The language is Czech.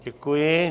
Děkuji.